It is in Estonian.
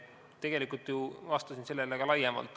Tegelikult ma ju vastasin sellele ka laiemalt.